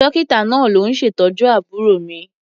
Dọ́kítà náà ló ń ṣètọ́jú àbúrò mi.